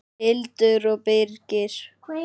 Hildur og Birgir.